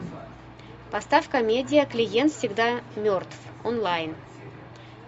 поставь комедия клиент всегда мертв онлайн